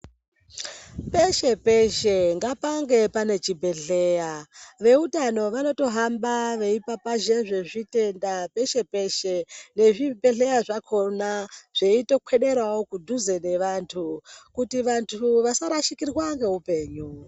Peshe peshe ngapange pane chibhedhleya veutano vanoto hamba veyi papazhe zve zvitenda peshe peshe ne zvibhedhleya zvakona zveito kweberawo kudhuze ne vantu kuti vantu vasa rashikirwa nge upenyu.